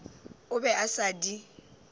o be a sa di